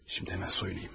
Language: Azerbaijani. İndi həmən soyunum.